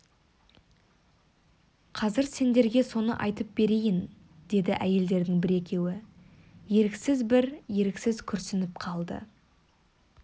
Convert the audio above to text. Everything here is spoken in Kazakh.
қазір сендерге соны айтып берейін деді әйелдердің бір-екеуі еріксіз бір еріксіз күрсініп қалды